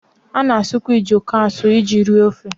A na-asụkwa ojoko asụ iji rie ofe.